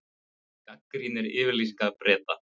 Gagnrýnir yfirlýsingar Breta